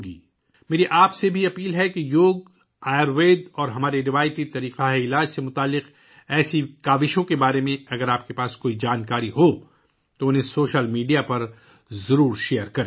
میں آپ سے یہ بھی درخواست کرتا ہوں کہ اگر آپ کے پاس یوگا، آیوروید اور ہمارے روایتی طبی طریقوں سے متعلق ایسی کوششوں کے بارے میں کوئی معلومات ہیں، تو انہیں سوشل میڈیا پر شیئر کریں